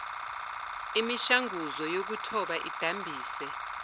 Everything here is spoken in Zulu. imishanguzo yokuthoba idambise